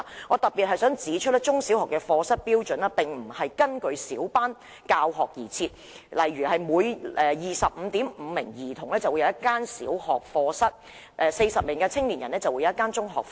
我想特別指出，中小學課室的標準並不是根據小班教學而訂定的，例如每 25.5 名學童便有一個小學課室，而每40名青少年便有一個中學課室。